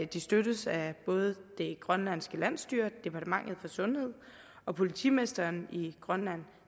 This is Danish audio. de støttes af både det grønlandske landsstyre departementet for sundhed og politimesteren i grønland